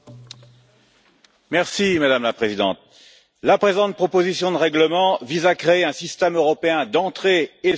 Madame la Présidente, la présente proposition de règlement vise à créer un système européen d'entrée et de sortie de l'espace Schengen.